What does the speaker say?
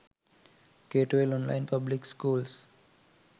k12 online public schools